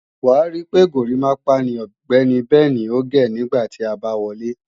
Wàá rí pé górimápá ni Ọ̀gbẹ́ni Bẹnì ò gé nígbà tí a bá wọlé